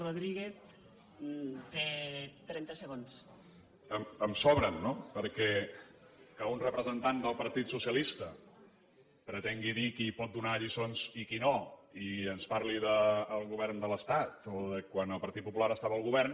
me’n sobren no perquè que un representant del partit socialista pretengui dir qui pot donar lliçons i qui no i ens parli del govern de l’estat o de quan el partit popular estava al govern